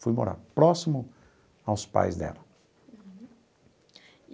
Fui morar próximo aos pais dela. Uhum.